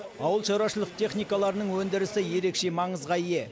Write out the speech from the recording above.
ауылшараушылық техникаларының өндірісі ерекше маңызға ие